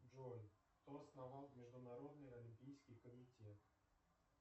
джой кто основал международный олимпийский комитет